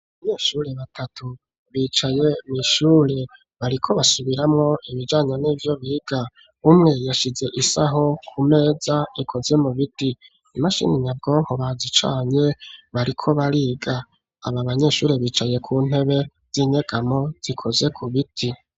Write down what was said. Abanyeshure batatu bicaye mw'ishure bariko basubiramwo ibijanye nivyo biga umwe yashize isaho ku meza ikoze mu biti imashini nyabwonko bazicanye bariko bariga aba abanyeshure bicaye ku ntebe z'inyegamo zikoze mu biti.